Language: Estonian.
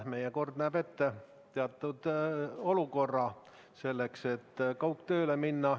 Meie kord näeb ette teatud olukorra selleks, et kaugtööle minna.